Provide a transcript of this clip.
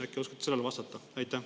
Äkki oskate sellele vastata?